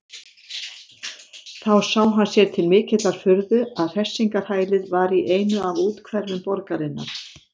Þá sá hann sér til mikillar furðu að hressingarhælið var í einu af úthverfum borgarinnar.